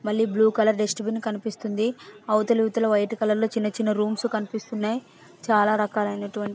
మల్లి blue colour dustbin కనిపిస్తుంది అవతలివాతల white colour లో చిన్న చిన్న రూమ్స్ ల అనిపిస్తున్నాయి చాల రకాల --